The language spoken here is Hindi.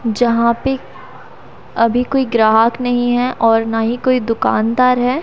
यहां पे अभी कोई ग्राहक नहीं है और ना ही कोई दुकानदार है।